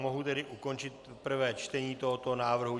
Mohu tedy ukončit prvé čtení tohoto návrhu.